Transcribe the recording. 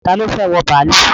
Ta ni ó fẹ́ wọ bàálù?